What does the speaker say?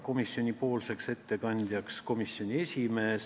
Komisjoni ettekandjaks määrati komisjoni esimees.